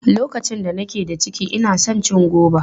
Lokacin da nake ciki, ina son cin goba.